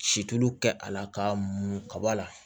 Situlu kɛ a la ka mun kaba la